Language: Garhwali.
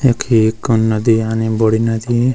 यखी एक नदी आणि बड़ी नदी।